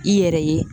I yɛrɛ ye